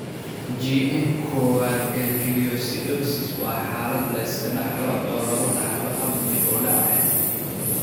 GM kowaad gangliosidosis waa xaalad la iska dhaxlo oo lagu dhaxlo hab dib u dhac ah.